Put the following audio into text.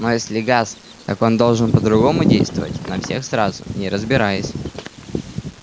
но если газ так он должен по-другому действовать на всех сразу не разбираясь